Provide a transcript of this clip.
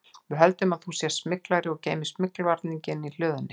Við höldum að þú sért smyglari og geymir smyglvarninginn í hlöðunni